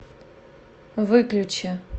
выключи